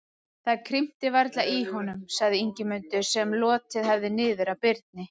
Það krimtir varla í honum, sagði Ingimundur, sem lotið hafði niður að Birni.